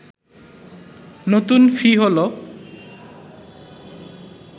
নতুন ফি হলো